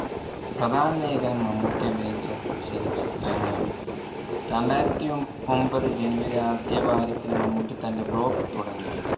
പ്രധാന ലേഖനം മമ്മൂട്ടി അഭിനയിച്ച ചലച്ചിത്രങ്ങളാണ്. രണ്ടായിരത്തി ഒൻ ~ഒമ്പതു January ആദ്യ വാരത്തിൽ മമ്മൂട്ടി തന്റെ blog തുടങ്ങി.